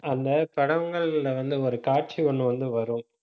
அந்த படங்கள்ல வந்து, ஒரு காட்சி ஒண்ணு வந்து வரும்